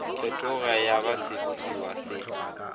fetoga ya ba sebopiwa se